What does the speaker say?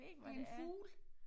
Det en fugl